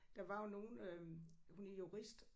Der var jo nogle øh hun er jurist